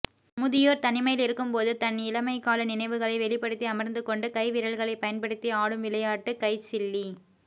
முதிரோர் தனிமையில் இருக்கும்போது தன் இளமைக்கால நினைவுகளை வெளிப்படுத்தி அமர்ந்துகொண்டு கை விரல்களைப் பயன்படுத்தி ஆடும் விளையாட்டு கைச்சில்லி